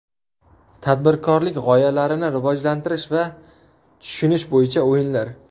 Tadbirkorlik g‘oyalarini rivojlantirish va tushunish bo‘yicha o‘yinlar.